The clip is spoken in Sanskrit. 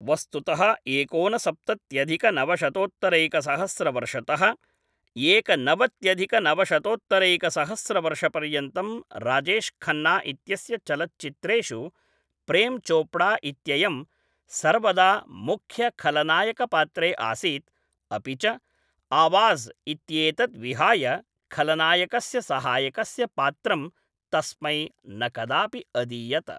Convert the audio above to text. वस्तुतः एकोनसप्त्यत्यधिकनवशतोत्तरैकसहस्रवर्षतः एकनवत्यधिकनवशतोत्तरैकसहस्रवर्षपर्यन्तं राजेश खन्ना इत्यस्य चलच्चित्रेषु प्रेमचोपड़ा इत्ययं सर्वदा मुख्यखलनायकपात्रे आसीत्, अपि च आवाज इत्येतद् विहाय खलनायकस्य सहायकस्य पात्रं तस्मै न कदापि अदीयत।